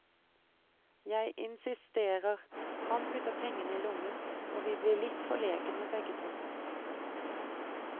Jeg insisterer, han putter pengene i lommen, og vi blir litt forlegne begge to.